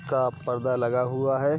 का पर्दा लगा हुआ है।